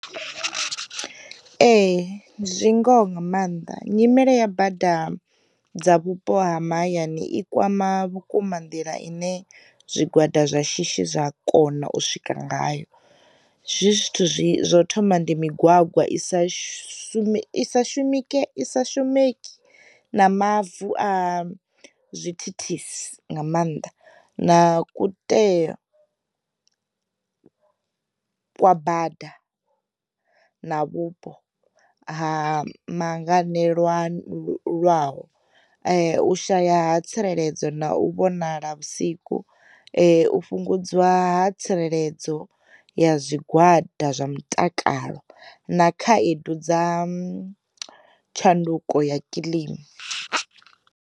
Ee zwi ngoho nga maanḓa, nyimele ya bada dza vhupo ha mahayani i kwama vhukuma nḓila ine zwigwada zwa shishi zwa kona u swikela ngayo, zwi zwithu zwi u thoma ndi migwagwa i sa shumiswe i shumisisa shumeki na mavu a zwithithisi nga maanḓa, na kuiteyo kwa bada, na vhupo ha mangene lwa lwaho, u shaya ha tsireledzo na u vhonala vhusiku, u fhungudziwa ha tsireledzo ya zwigwada zwa mutakalo na khaedu dza tshanduko ya kiḽima.